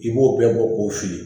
I b'o bɛɛ bɔ k'o fili